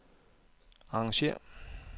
arrangér